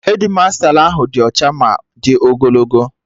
Hedmasta ahụ dị ọcha ma di ogologo